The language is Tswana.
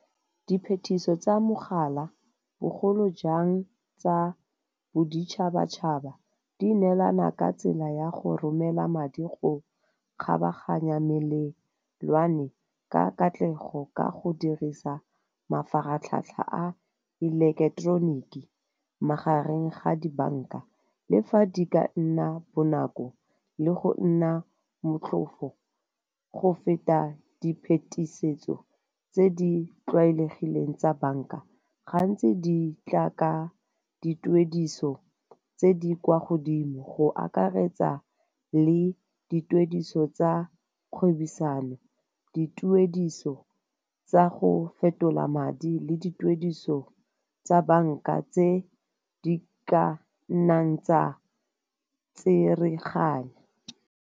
Di phetiso tsa mogala bogolo jang tsa boditšhabatšhaba di neelana ka tsela ya go romela madi go kgabaganya melelwane ka katlego, ka go dirisa mafaratlhatlha a ileketeroniki magareng ga di banka. Le fa di ka nna bonako le go nna motlhofo go feta di phetisetso tse di tlwaelegileng tsa banka, gantsi di tla ka dituediso tse di kwa godimo go akaretsa le dituediso tsa kgwebisano, dituediso tsa go fetola madi le dituediso tsa banka tse di ka nnang tsa tsereganya.